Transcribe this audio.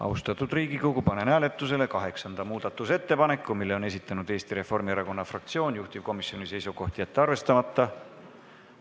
Austatud Riigikogu, panen hääletusele kaheksanda muudatusettepaneku, mille on esitanud Eesti Reformierakonna fraktsioon, juhtivkomisjoni seisukoht: jätta see arvestamata.